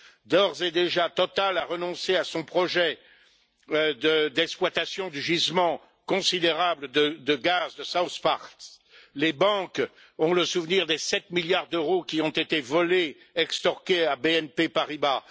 D'ores et déjà, Total a renoncé à son projet d'exploitation du gisement considérable de gaz de South Pars. Les banques ont le souvenir des 7 milliards d'euros qui ont été volés, extorqués, à BNP Paribas.